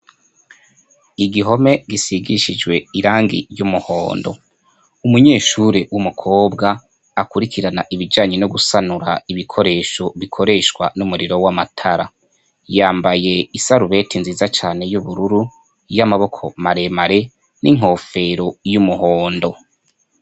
Igihome gisigishijwe irangi ry'umuhondo. Umunyeshure w'umukobwa akurikirana ibijanye no gusanura ibikoresho bikoreshwa n'umuriro w'amatara. Yambaye isarubeti nziza cane y'ubururu y'amaboko maremare n'inkofero y'umuhondo.